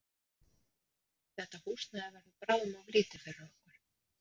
Þetta húsnæði verður bráðum of lítið fyrir okkur.